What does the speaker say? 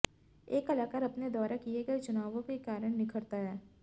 एक कलाकार अपने द्वारा किए गए चुनावों के कारण निखरता है